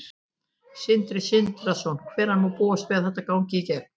Sindri Sindrason: Hvenær má búast við að þetta gangi í gegn?